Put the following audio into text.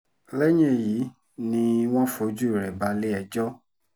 lẹ́yìn èyí ni wọ́n fojú rẹ̀ balẹ̀-ẹjọ́